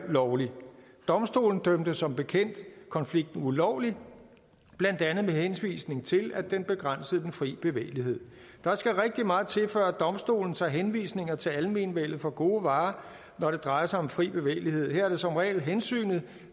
lovlig domstolen dømte som bekendt konflikten ulovlig blandt andet med henvisning til at den begrænsede den fri bevægelighed der skal rigtig meget til før domstolen tager henvisninger til almenvellet for gode varer når det drejer sig om fri bevægelighed her er det som regel hensynet